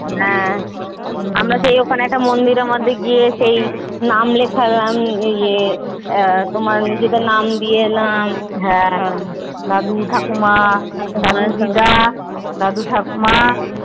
হ্যা আমরা সেই ওখানে একটা মন্দির এর মধ্যে গিয়ে সেই নাম লেখা এই তোমার নিজেদের নাম দিয়ে এলাম নাম দাদু ঠাকুমা দিদা দাদু ঠাকুমা